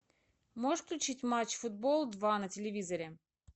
можешь включить матч футбол два на телевизоре